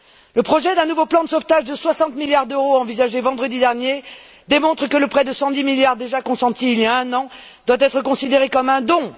Le projet d'un nouveau plan de sauvetage de 60 milliards d'euros envisagé vendredi dernier démontre que le prêt de 110 milliards déjà consenti il y a un an doit être considéré comme un don.